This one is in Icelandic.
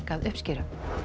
við uppskeruna